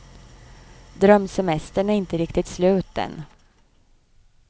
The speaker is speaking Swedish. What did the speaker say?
Drömsemestern är inte riktigt slut än.